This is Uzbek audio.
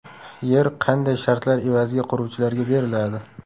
Yer qanday shartlar evaziga quruvchilarga beriladi?